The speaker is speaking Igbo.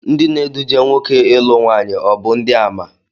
Ndị na-eduje nwoke ịlụ nwaanyị ọ bụ ndị àmà?